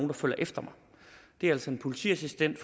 der følger efter mig det er altså en politiassistent